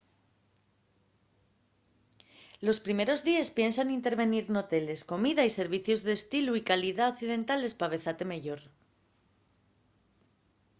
los primeros díes piensa n'invertir n'hoteles comida y servicios d'estilu y calidá occidentales p'avezate meyor